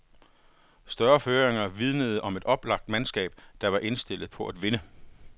Store føringer vidnede om et oplagt mandskab, der var indstillet på at vinde.